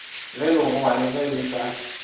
ge legogwa ge le ka